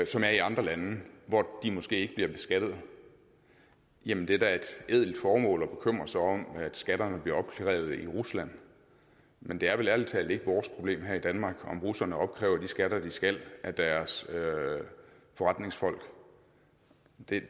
som er i andre lande hvor de måske ikke bliver beskattet jamen det er da et ædelt formål at bekymre sig om at skatterne bliver opkrævet i rusland men det er vel ærlig talt ikke vores problem her i danmark om russerne opkræver de skatter de skal af deres forretningsfolk